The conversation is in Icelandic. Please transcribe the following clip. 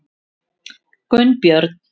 Gunnbjörn